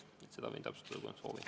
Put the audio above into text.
Seda ma võin täpsustada, kui on soovi.